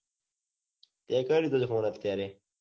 તે કયો લીધો phone અત્યારે